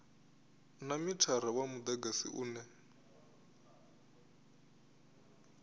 na mithara wa mudagasi une